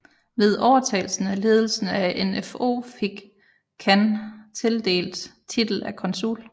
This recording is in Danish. Ved overtagelsen af ledelsen af NfO fik kan tildelt titel af Konsul